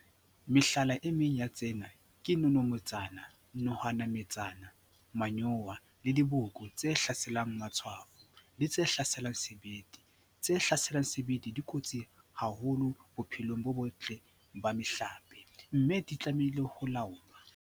Mehlala e meng ya tsena ke nonometsane, nohanametsana, manyowa, le diboko tse hlaselang matshwafo, le tse hlaselang sebete. Tse hlaselang sebete di kotsi haholo bophelong bo botle ba mehlape, mme di tlamehile ho laolwa.